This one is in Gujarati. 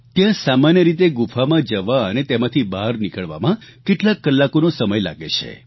ત્યાં સામાન્ય રીતે ગુફામાં જવા અને તેમાંથી બહાર નીકળવામાં કેટલાક કલાકોનો સમય લાગે છે